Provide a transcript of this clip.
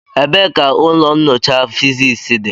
Ebee ka ụlọ nyocha Fiziks dị?